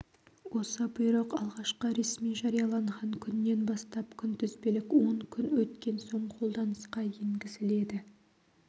осы бұйрық алғашқы ресми жарияланған күннен бастап күнтізбелік он күн өткен соң қолданысқа енгізіледі